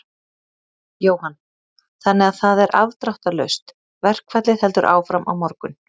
Jóhann: Þannig að það er afdráttarlaust, verkfallið heldur áfram á morgun?